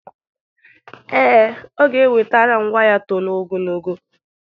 Ee, ọ ga-ewetara m waya toro ogologo.